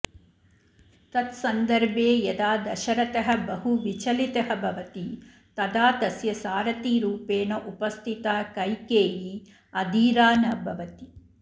तत्सन्दर्भे यदा दशरथः बहु विचलितः भवति तदा तस्य सारथिरूपेण उपस्थिता कैकेयी अधीरा न भवति